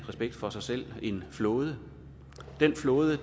respekt for sig selv en flåde den flåde